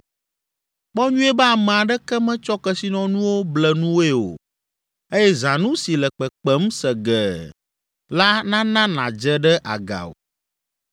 Kpɔ nyuie be ame aɖeke metsɔ kesinɔnuwo ble nuwòe o eye zãnu si le kpekpem segee la nana nàdze ɖe aga o.